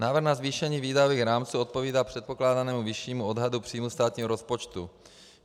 Návrh na zvýšení výdajových rámců odpovídá předpokládanému vyššímu odhadu příjmů státního rozpočtu.